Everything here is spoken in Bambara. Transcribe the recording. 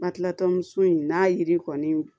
Batilatɔnso in n'a yiri kɔni